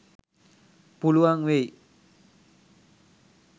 පුළුවන් වෙයි.